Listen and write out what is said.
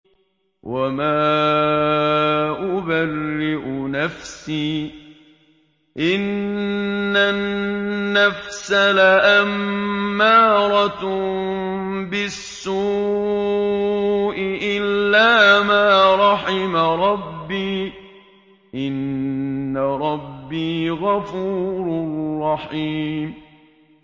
۞ وَمَا أُبَرِّئُ نَفْسِي ۚ إِنَّ النَّفْسَ لَأَمَّارَةٌ بِالسُّوءِ إِلَّا مَا رَحِمَ رَبِّي ۚ إِنَّ رَبِّي غَفُورٌ رَّحِيمٌ